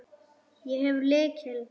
Ég hef lykil.